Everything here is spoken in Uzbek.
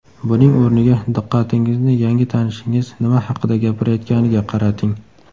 Buning o‘rniga diqqatingizni yangi tanishingiz nima haqida gapirayotganiga qarating.